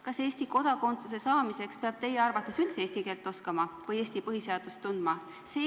Kas Eesti kodakondsuse saamiseks peab teie arvates üldse eesti keelt oskama või Eesti põhiseadust tundma?